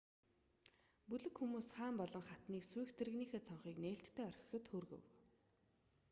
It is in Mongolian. бүлэг хүмүүс хаан болон хатныг сүйх тэрэгнийхээ цонхыг нээлттэй орхиход хүргэв